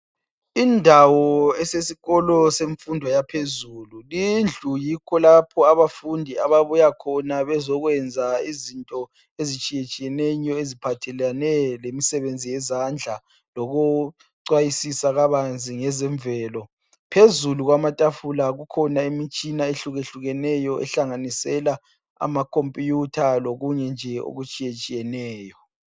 Indawo esesikolo semfundo yaphezulu. Lindlu yikho lapho abafundi ababuyakhona bezokwenza izinto ezitshiyetshiyeneyo eziphathelana lemsebenzi yezandla lokucwayisisa kabanzi ngezemvelo. Phezulu kwamatafula kukhona imitshina ehlukehlukeneyo ehlanganisela amaKhompiyutha lokunye nje okutshiyetshiyeneyo.